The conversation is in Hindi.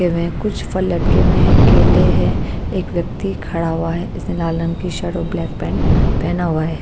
हुए है कुछ फल लटके हुए हैं केले हैं एक व्यक्ति खड़ा हुआ है इसने लाल रंग की शर्ट और ब्लैक पैंट पेहना हुआ है।